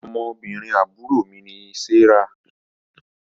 Ọmọbìnrin àbúrò mí ni Serah